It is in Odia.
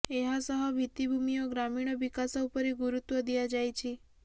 ଏହାସହ ଭିତ୍ତିଭୁମୀ ଓ ଗ୍ରାମୀଣ ବିକାଶ ଉପରେ ଗୁରୁତ୍ୱ ଦିଆଯାଇଛି